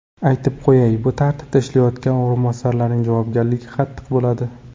Aytib qo‘yay, bu tartibda ishlayotgan o‘rinbosarlarning javobgarligi qattiq bo‘ladi.